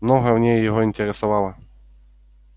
многое в ней его интересовало